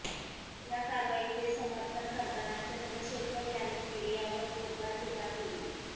या कारवाईचे समर्थन करताना चंद्रशेखर यांनी मीडियावर जोरदार टीका केली